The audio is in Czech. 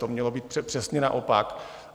To mělo být přesně naopak.